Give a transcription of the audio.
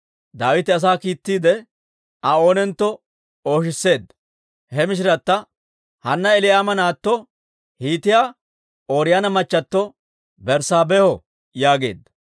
Daawite asaa kiittiide, Aa oonentto ooshisseedda; he mishirata, «Hanna Elii'aama naatto Hiitiyaa Ooriyoona machato Berssaabeeho» yaageedda.